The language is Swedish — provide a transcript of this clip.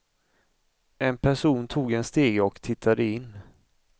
En person tog en stege och tittade in.